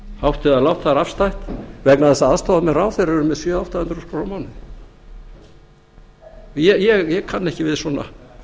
hátt eða lágt það er afstætt vegna þess að aðstoðarmenn ráðherra eru með sjö til átta hundruð þúsund krónur á mánuði ég kann ekki við svona